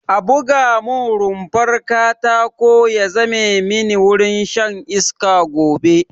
A buga mun rumfar katako ya zame mini wurin shan iska gobe